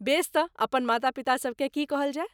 बेस तँ अपन माता पितासभकेँ की कहल जाए?